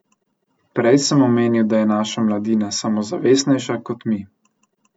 Prej sem omenil, da je naša mladina samozavestnejša kot mi.